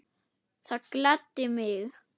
Það gladdi mig.